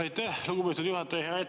Aitäh, lugupeetud juhataja!